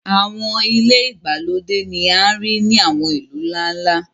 àwọn ile igbalode ni a rii ni àwọn ilu nla-nla.